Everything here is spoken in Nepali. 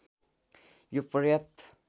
यो पर्याप्त